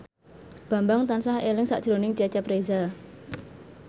Bambang tansah eling sakjroning Cecep Reza